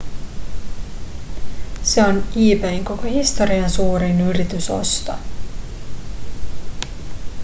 se on ebayn koko historian suurin yritysosto